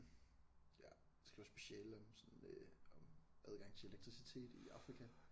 Ja skriver speciale om sådan øh om adgang til elektricitet i Afrika